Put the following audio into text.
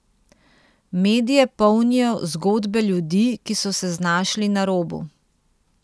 Medije polnijo zgodbe ljudi, ki so se znašli na robu.